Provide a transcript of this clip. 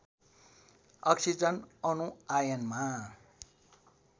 oxygen अणु आयनमा